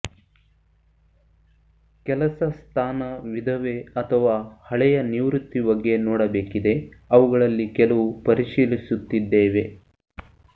ಕೆಲಸ ಸ್ಥಾನ ವಿಧವೆ ಅಥವಾ ಹಳೆಯ ನಿವೃತ್ತಿ ಬಗ್ಗೆ ನೋಡಬೇಕಿದೆ ಅವುಗಳಲ್ಲಿ ಕೆಲವು ಪರಿಶೀಲಿಸುತ್ತಿದ್ದೇವೆ